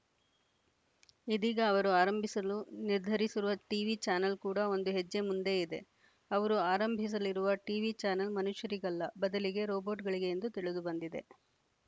ಇದೀಗ ಅವರು ಆರಂಭಿಸಲು ನಿರ್ಧರಿಸಿರುವ ಟೀವಿ ಚಾನಲ್‌ ಕೂಡ ಒಂದು ಹೆಜ್ಜೆ ಮುಂದೇ ಇದೆ ಅವರು ಆರಂಭಿಸಲಿರುವ ಟೀವಿ ಚಾನಲ್‌ ಮನುಷ್ಯರಿಗಲ್ಲ ಬದಲಿಗೆ ರೊಬೊಟ್‌ಗಳಿಗೆ ಎಂದು ತಿಳಿದುಬಂದಿದೆ